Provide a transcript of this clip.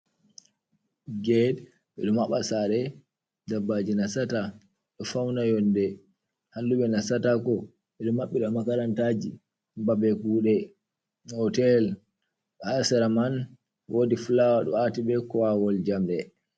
Gate ɓedo maɓa sare daɓɓaji nasata ɗo fauna yonde, halluɓe nasatako, ɓeedo maɓɓira makarantaji, babe kuɗe, hotel, h sera man wodi flower ɗo ati be kowawol jamɗe.